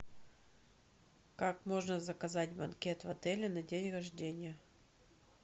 как можно заказать банкет в отеле на день рождения